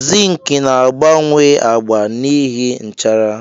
Zink na-agbanwe agba n'ihi nchara.